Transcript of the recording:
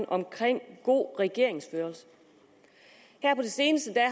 omkring god regeringsførelse her på det seneste